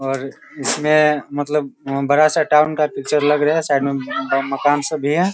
और इसमें मतलब बड़ा सा टाउन का पिक्चर लग रहा है साइड में मम्म मकान सब भी है।